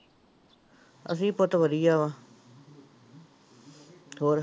ਅਸੀਂ ਵਾ ਹੋਰ